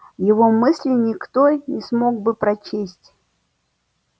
его мысли никто не смог бы прочесть